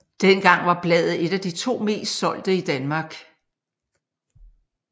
Dengang var bladet et af de to mest solgte i Danmark